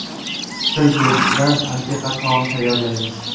Til go‘shtidan antiqa taom tayyorlaymiz.